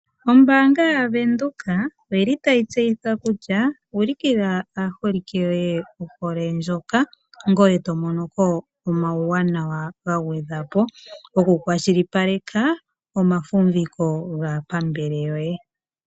Ombaanga ya venduka oyili tayi tseyitha kutya olukila aaholike yoye ohole ndjoka, ngoye tomonoko omauwanawa ga gwedhwa po gokukwashilipaleka omafumbiko gaapambele yoye.